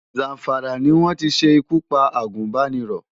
Zamfara ni wọ́n ti ṣe ikú pa agùnbánirọ̀.